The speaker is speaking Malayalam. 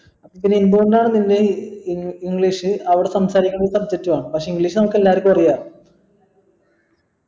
പിന്നെ എന്തുകൊണ്ടാണ് നിന്നെ ഏർ english അവിടെ സംസാരിക്കണ subject ഉം ആണ് പക്ഷെ english നമുക്കെല്ലാർകും അറിയാം